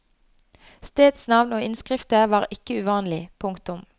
Stedsnavn og innskrifter var ikke uvanlig. punktum